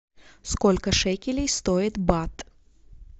сколько шекелей стоит бат